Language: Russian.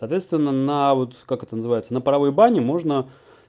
соответственно на вот как это называется на паровой бане можно